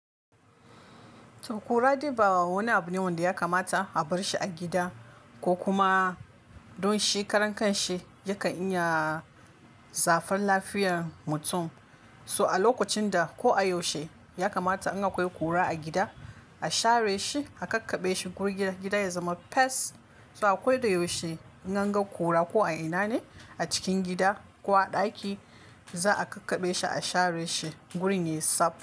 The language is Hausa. To kura dai ba wani abu ne wanda ya kamata a bar shi a gida ko kuma don shi karan kanshi yakan iya shafan lafiyar mutum. So a lokacin da ko a yaushe ya kamata in akwai kura a gida, a share shi, a kakkaɓe shi guri gida ya zama fes So a kodayaushe in anga kura ko a ina ne a cikin gida ko a ɗaki, za a kakkaɓe shi, a share shi gurin ya tsaf.